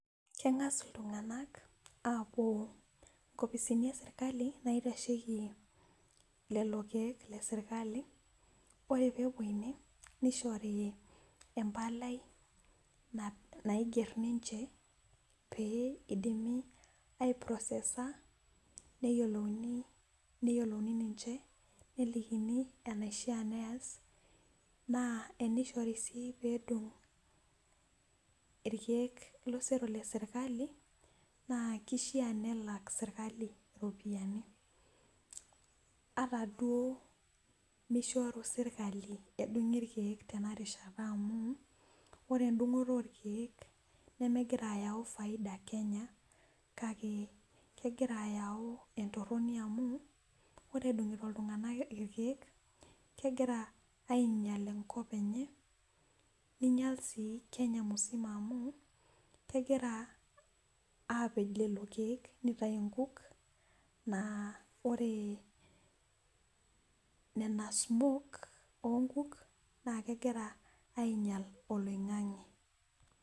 Kengas iltungank apuo nkopisi esirkali naitasheki lelo keek ,ore pee epuo ine nishori empalai naigero ninche pee eidimi aiprosesa ,neyiolouni ninche nelikini enaisha pee ees ,naa tenishori sii erishata pee edung irkeek lesirkali naa keishaa nelak sirkali iropiyiani ata duo mishori sirkali edungi irkeek tena rishata amu ore endungoto orkeek nemegirae ayau faida kenya kake kegira ayau entoroni amu ore edungito iltunganak irkeek kegira ainyal enkop enye ,neinyal sii kenya msima amu kegira apej lelo keek nitayu nkuk na ore nena smok oonkuk naa kegira ainyal oloingange.